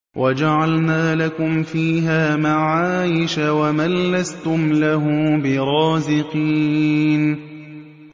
وَجَعَلْنَا لَكُمْ فِيهَا مَعَايِشَ وَمَن لَّسْتُمْ لَهُ بِرَازِقِينَ